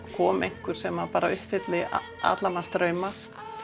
komi einhver sem uppfylli alla manns drauma